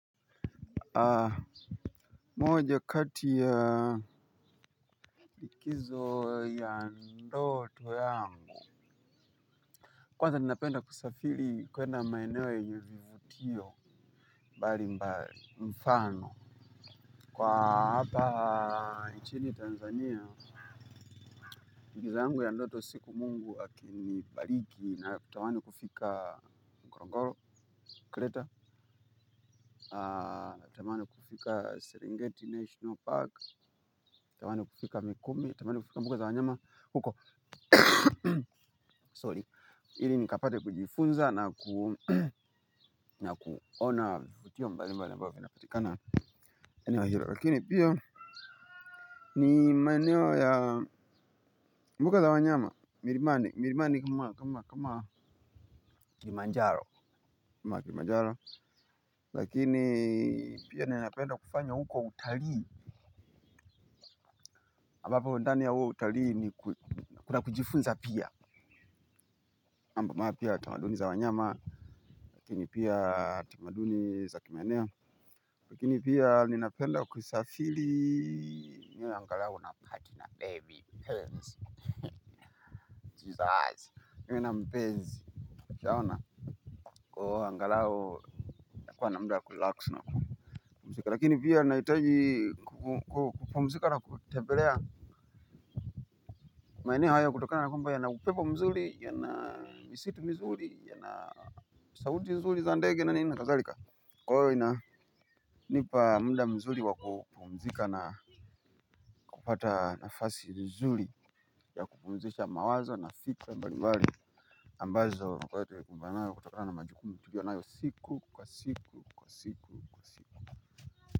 Moja kati ya kizo ya ndoto yangu kwanza ninapenda kusafiri kwenda maeneo nyenye vivutio mbali mbali mfano kwa hapa nchini Tanzania timiza yangu ya ndoto siku Mungu akinibariki natamani kufika ngorongoro kreta natamani kufika serengeti national park, natamani kufika mikumi, natamani kufika mbuga za wanyama huko Sorry, ili nikapate kujifunza na kuona vivutio mbalimbali ambavyo vinapatikana eneo hilo. Lakini pia ni maeneo ya mbuga za wanyama, milimani, milimani kama kilimanjaro. Lakini pia ninapenda kufanya huko utalii ambapo ndani ya uo utalii ni kuna kujifunza pia mambo mapya tamaduni za wanyama, lakini pia tamaduni za kimaeneo. Lakini pia ninapenda kusafiri. Angalau napati na bebi, mpenzi, jesus. Niwe na mpenzi ushaona kwahiyo angalau nakuwa na muda kurilaksi nakupumzika. Lakini pia nahitaji kupumzika na kutembelea maeneo haya kutokana na kwamba yana upepo mzuri yana misitu mizuri yana sauti nzuri za ndege na nini na kadhalika. Kwa hiyo inanipa muda mzuri wa kupumzika na kupata nafasi nzuri ya kupumzisha mawazo na fikra mbalimbali ambazo na kwa ya terikumbana kutakana na majukumi tulio nayo siku kwa siku kwa siku.